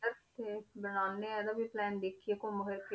ਤੇ ਬਣਾਉਂਦੇ ਹਾਂ ਇਹਦਾ ਵੀ plan ਦੇਖੀਏ ਘੁੰਮ ਫਿਰਕੇ